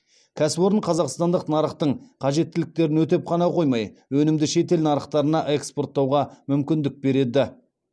кәсіпорын қазақстандық нарықтың қажеттіліктерін өтеп қана қоймай өнімді шетел нарықтарына экспорттауға мүмкіндік береді